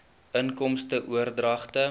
inkomste oordragte